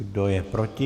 Kdo je proti?